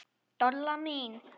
Dolla mín.